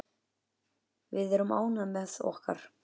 Við erum ánægð með okkar.